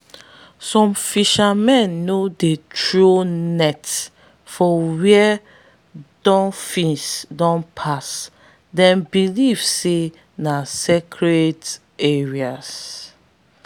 some fishermen no dey throw nets for where dolphins don pass them believe say na sacred area.